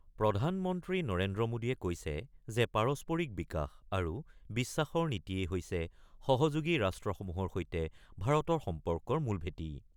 প্ৰধান মন্ত্ৰী নৰেন্দ্ৰ মোডীয়ে কৈছে যে পাৰস্পৰিক বিকাশ আৰু বিশ্বাসৰ নীতিয়েই হৈছে সহযোগী ৰাষ্ট্ৰসমূহৰ সৈতে ভাৰতৰ সম্পৰ্কৰ মূল ভেঁটি।